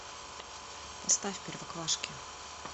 поставь первоклашки